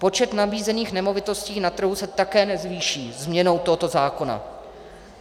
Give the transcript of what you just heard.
Počet nabízených nemovitostí na trhu se také nezvýší změnou tohoto zákona.